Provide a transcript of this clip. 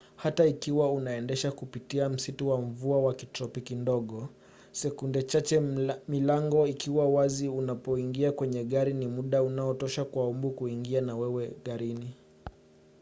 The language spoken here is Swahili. hata ikiwa unaendesha kupitia msitu wa mvua wa kitropiki ndogo sekunde chache milango ikiwa wazi unapoingia kwenye gari ni muda unaotosha kwa mbu kuingia na wewe garini